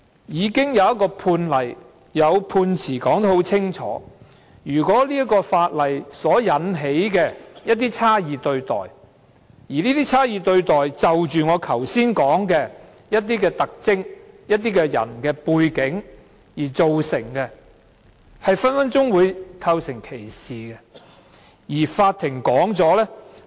現在已有判例和判詞清楚述明，如果法例會引起一些差異對待，而這些差異對待是由我剛才提到的某些特徵或某些人的背景造成，隨時會構成歧視。